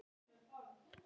Fallin spýta!